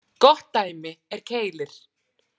Gott dæmi er Keilir.